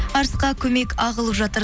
арысқа көмек ағылып жатыр